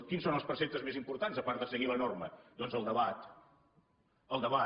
quins són els preceptes més importants a part de seguir la norma doncs el debat el debat